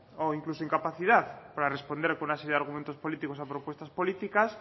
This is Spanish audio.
o incluso incapacidad para responder con una serie de argumentos políticos a propuestas políticas